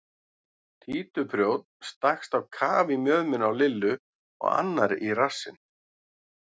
Títuprjónn stakkst á kaf í mjöðmina á Lillu og annar í rassinn.